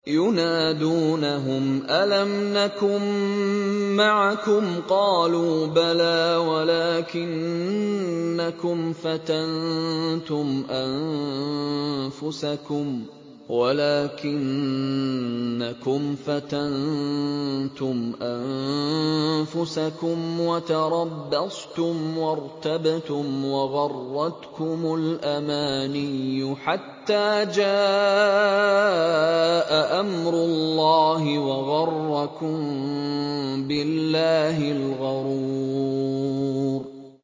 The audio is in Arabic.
يُنَادُونَهُمْ أَلَمْ نَكُن مَّعَكُمْ ۖ قَالُوا بَلَىٰ وَلَٰكِنَّكُمْ فَتَنتُمْ أَنفُسَكُمْ وَتَرَبَّصْتُمْ وَارْتَبْتُمْ وَغَرَّتْكُمُ الْأَمَانِيُّ حَتَّىٰ جَاءَ أَمْرُ اللَّهِ وَغَرَّكُم بِاللَّهِ الْغَرُورُ